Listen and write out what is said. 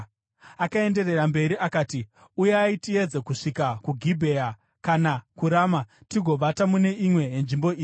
Akaenderera mberi akati, “Uyai, tiedze kusvika kuGibhea kana kuRama tigovata mune imwe yenzvimbo idzi.”